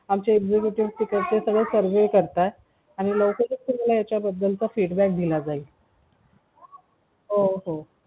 आमचे executive चे तिकडचे सगळे survey करत्यात आणि लवकरच तुम्हाला याच्या बद्दल चा feedback दिला जाईल हो हो